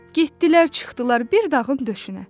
Getdilər, çıxdılar bir dağın döşünə.